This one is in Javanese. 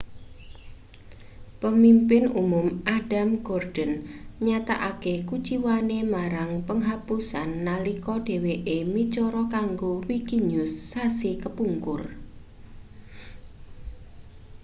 pemimpin umum adam cuerden nyatakake kuciwane marang penghapusan nalika dheweke micara kanggo wikinews sasi kepungkur